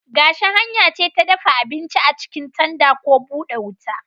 Gashi hanya ce ta dafa abinci a cikin tanda ko bude wuta.